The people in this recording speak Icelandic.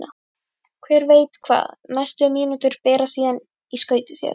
Hver veit hvað næstu mínútur bera síðan í skauti sér?